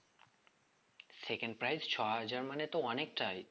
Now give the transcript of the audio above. second prize ছ হাজার মানে তো অনেকটাই